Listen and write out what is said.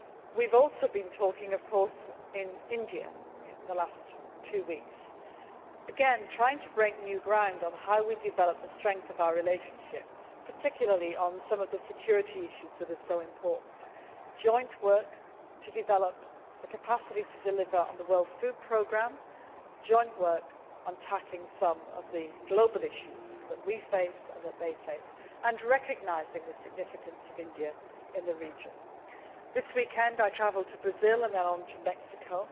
We have also been talking, of course, in India in the last two weeks again, trying to break new ground in developing the strength of our relationship particularly on some of the security issues that are so important and on joint work to develop the capacity to deliver on the World Food Programme, as well as tackling some of the global issues that we and they face and recognising the significance of India in the region. This weekend I travel to Brazil and then on to Mexico,